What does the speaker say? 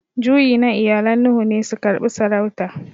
Juyi na iyalan Nuhu ne su karbi saurauta.